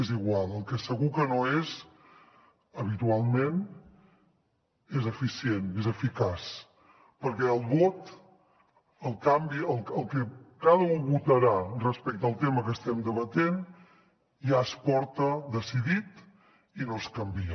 és igual el que segur que no és habitualment és eficient és eficaç perquè el vot el que cada u votarà respecte al tema que estem debatent ja es porta decidit i no es canvia